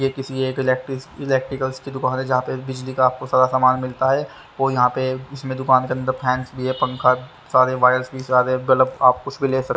ये किसी इलेक्ट्र इलेक्ट्रिकल्स की दुकान है जहा पे बिजली का आपको सारा सामान मिलता है और यहाँ पे दुकान के अंदर फैनस भी है पंखा सारे वायर्स भी बल्ब आप कुछ भी ले सकते --